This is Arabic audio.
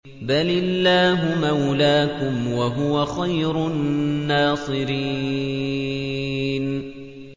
بَلِ اللَّهُ مَوْلَاكُمْ ۖ وَهُوَ خَيْرُ النَّاصِرِينَ